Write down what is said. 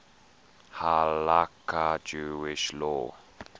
halakha jewish law